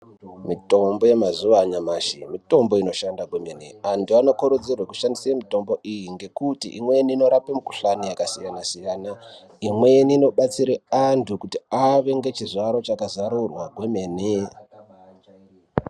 Mitombo yemazuva anyamashi mitombo inoshanda kwemene anthu anokurudzirwa kushandise mitombo iyi ngekuti inorape mikuhlani yakasiyana siyana imweni inobatsire anthu kuti ave ngechizvaro chakazarurwa kwemene.